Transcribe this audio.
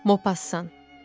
Mopassan.